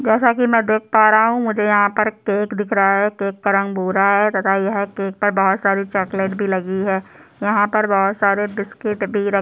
जैसा की मैं देख पा रहा हूँ मुझे यहाँ पर केक दिख रहा है केक का रंग भूरा है तथा यह केक पर बहुत सारी चॉकलेट भी लगी है यहाँ पर बहुत सारे बिसकिट भी रखे --